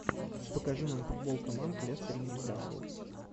покажи нам футбол команд лестер ньюкасл